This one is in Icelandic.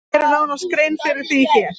Við gerum nánari grein fyrir því hér.